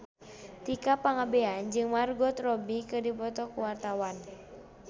Tika Pangabean jeung Margot Robbie keur dipoto ku wartawan